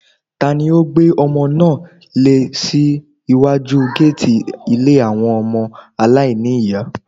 Tani ó gbé ọmọ náà lẹ̀ sí iwájú géètì ilé àwọn ọmọ aláìní ní ìyá.